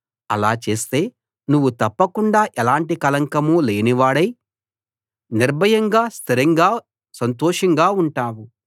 అలా చేస్తే నువ్వు తప్పకుండా ఎలాంటి కళంకం లేనివాడవై నిర్భయంగా స్థిరంగా సంతోషంగా ఉంటావు